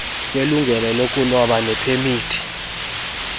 kwelungelo lokuloba nepemithi